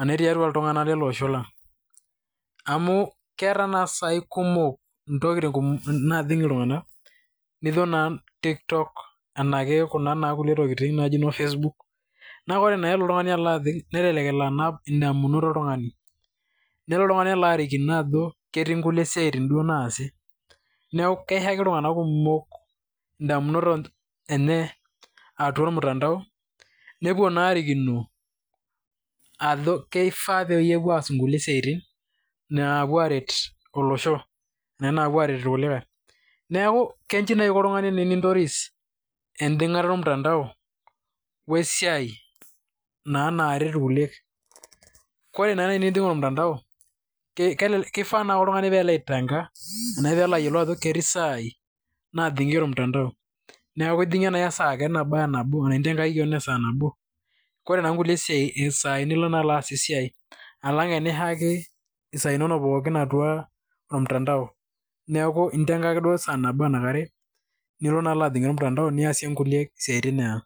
ene tiatua iltunganak kumok lelo oosho lang'.amu keeta naa sai intokitin kumok naajing' iltunganak. nijo naa tiktok, facebook. nelelk elo anap idamunot oltungani, nelo oltungani arikino ajo, ketii nkulie siaitin duoo naasi. neeku keishaki iltunganak kumok idamunot enye atua ormutandao, nepuo naa aarikino, ajo keifaa pee epuo aas inkulie siatin, naapuo aaret olosho, ena naapuo aaret irkulikae. neeku keji naaji inko oltungani tenintoris ejing'ata ormutandao we siai naa naaret irkulie. ore naa naaji tenijing' ormutandao lifaa naaji pee elo oltungani aitenga ajo ketii isiatin naajing atua ormutandao, alang enijing' isaai pookin ormutandao.